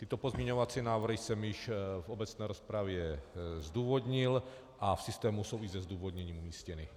Tyto pozměňovací návrhy jsem již v obecné rozpravě zdůvodnil a v systému jsou i se zdůvodněním umístěny.